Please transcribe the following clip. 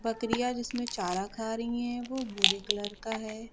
बकरियां जिसमें चारा खा रही है वो भूरे कलर का है।